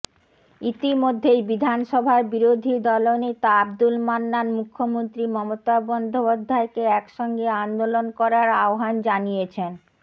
ইতিমধ্যেই বিধানসভার বিরোধী দলনেতা আব্দুল মান্নান মুখ্যমন্ত্রী মমতা বন্দ্যোপাধ্যায়কে একসঙ্গে আন্দোলন করার আহ্বান জানিয়েছেন